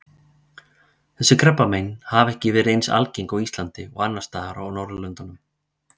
Þessi krabbamein hafa ekki verið eins algengt á Íslandi og annars staðar á Norðurlöndunum.